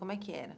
Como é que era?